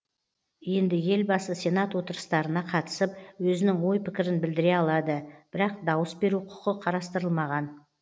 енді елбасы сенат отырыстарына қатысып өзінің ой пікірін білдіре алады бірақ дауыс беру құқы қарастырылмаған